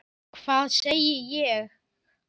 Hvað sagði ég??